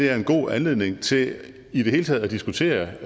er en god anledning til i det hele taget at diskutere